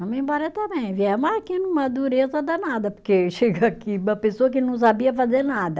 Vamos embora também, viemos aqui numa dureza danada, porque chega aqui uma pessoa que não sabia fazer nada.